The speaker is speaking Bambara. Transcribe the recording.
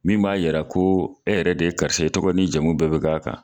Min b'a yɛrɛ ko e yɛrɛ de ye karisa ye, e tɔgɔ ni jamu bɛɛ bɛ k'a kan.